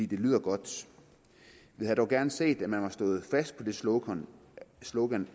det lyder godt vi havde dog gerne set at man stået fast på det slogan slogan